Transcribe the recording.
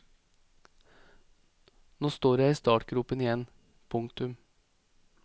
Nå står jeg i startgropen igjen. punktum